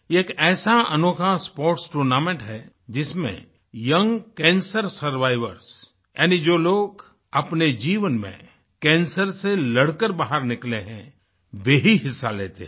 यह एक ऐसा अनोखा स्पोर्ट्स टूर्नामेंट है जिसमें यंग कैंसर सर्वाइवर्स यानी जो लोग अपने जीवन में कैंसर से लड़कर बाहर निकले हैं वे ही हिस्सा लेते हैं